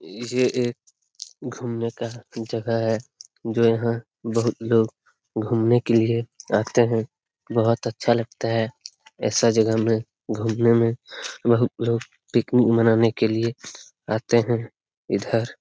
ई जे एक घुमने का जगह है जो यहाँ बहुत लोग घुमने के लिए आते है बहुत अच्छा लगता है ऐसा जगह में घुमने में बहुत लोग पिकनिक मनाने के लिए आते है इधर |.